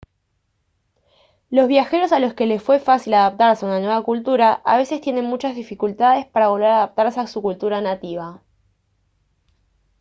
los viajeros a los que les fue fácil adaptarse a una nueva cultura a veces tienen muchas dificultades para volver a adaptarse a su cultura nativa